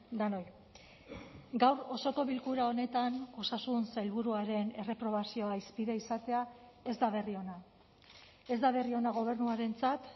denoi gaur osoko bilkura honetan osasun sailburuaren erreprobazioa hizpide izatea ez da berri ona ez da berri ona gobernuarentzat